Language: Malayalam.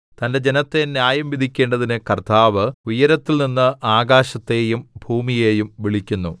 തന്റെ ജനത്തെ ന്യായം വിധിക്കേണ്ടതിന് കർത്താവ് ഉയരത്തിൽനിന്ന് ആകാശത്തെയും ഭൂമിയെയും വിളിക്കുന്നു